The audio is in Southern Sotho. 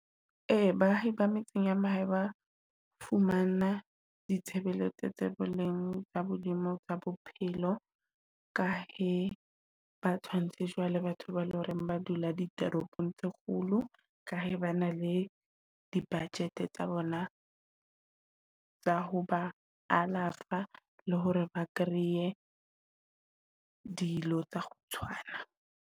Ee baahi ba metseng ba fumana ditshebeletso tsa boleng bo hodimo tsa bophelo. Ka he ba tshwanetse jwale, batho ba le horeng ba dula ditoropong tse kgolo. Ka he ba na le di-budget tsa bona tsa ho ba alafa, le hore ba kreye dilo tsa ho tshwana.